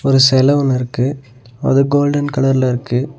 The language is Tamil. ஒரு செல ஒன்னு இருக்கு. அது கோல்டன் கலர்ல இருக்கு.